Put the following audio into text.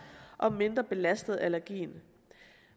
og mindre belastet af allergien